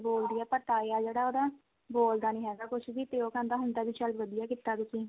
ਬੋਲਦੀ ਆ ਪਰ ਤਾਇਆ ਜਿਹੜਾ ਉਹਦਾ ਬੋਲਦਾ ਨੀ ਹੈਗਾ ਕੁਝ ਵੀ ਤੇ ਉਹ ਕਹਿੰਦਾ ਹੁੰਦਾ ਵੀ ਚੱਲ ਵਧੀਆ ਕੀਤਾ ਤੁਸੀਂ